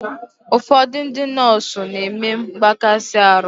Ụfọdụ ndị nọọsụ n'eme mgbakasi arụ